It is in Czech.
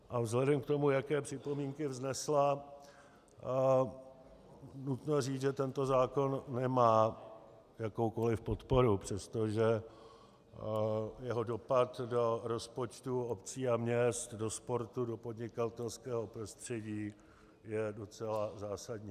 A vzhledem k tomu, jaké připomínky vznesla, nutno říct, že tento zákon nemá jakoukoliv podporu, přestože jeho dopad do rozpočtu obcí a měst, do sportu, do podnikatelského prostředí je docela zásadní.